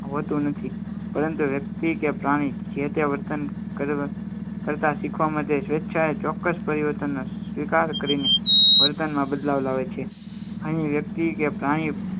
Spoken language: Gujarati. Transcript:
હવે તું નથી પરંતુ વ્યક્તિ કે પ્રાણી જેતે વર્તન કરતાં શીખવા માટે સ્વેચ્છાએ ચોક્કસ પરિવર્તનનો સ્વીકાર કરીને વર્તનમાં બદલાવ લાવે છે અહીં વ્યક્તિ કે પ્રાણી